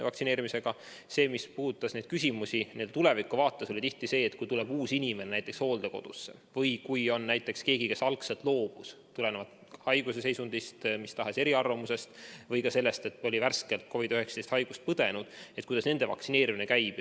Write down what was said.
Nüüd sellest, mis puudutab küsimust selle kohta, et kui tuleb uus inimene hooldekodusse või kui näiteks on keegi, kes algselt loobus vaktsiinist haigusseisundi, mis tahes eriarvamuse või ka selle tõttu, et oli värskelt COVID‑19 haiguse läbi põdenud, siis kuidas nende vaktsineerimine käib.